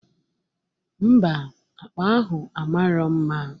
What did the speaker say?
Ḿbà, akpa ahụ a marọ mma